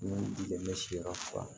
Ni dɛmɛ siyɔrɔ fura